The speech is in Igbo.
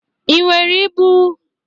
Ị nwere ịbụ?